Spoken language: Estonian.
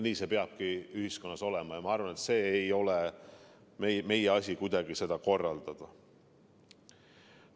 Nii see peabki ühiskonnas olema ja ma arvan, et ei ole meie asi seda kuidagi korraldada.